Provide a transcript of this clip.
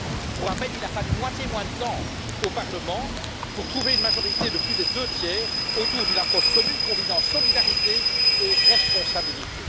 Pour rappel, il a fallu moitié moins de temps au Parlement pour trouver une majorité de plus des deux tiers autour d'une approche commune combinant solidarité et responsabilité.